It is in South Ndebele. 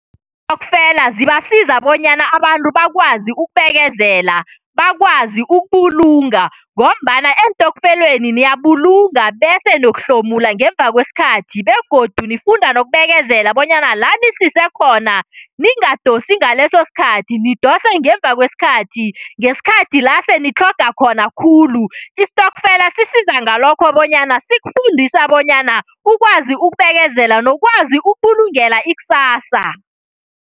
Iintokfela zibasiza kobanyana abantu bakwazi ukubekezela, bakwazi ukubulunga ngombana eentokfeleni niyabulunga bese niyokuhlomula ngemuva kwesikhathi begodu nifunda nokubekezela bonyana lanisise khona ningadosi ngaleso sikhathi, nidose ngemuva kwesikhathi, ngesikhathi nitlhoga khona khulu. Istokfela sisiza ngalokho bonyana, sikufundisa bonyana ukwazi ukubekezela nokwazi ukubulungeka ikusasa.